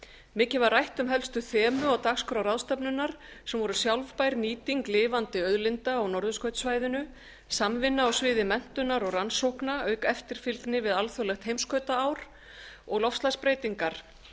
mikið var rætt um helstu þemu á dagskrá ráðstefnunnar sem voru sjálfbær nýting lifandi auðlinda á norðurskautssvæðinu samvinna á sviði menntunar og rannsókna auk eftirfylgni við alþjóðlegt heimskautaár og loftslagsbreytingar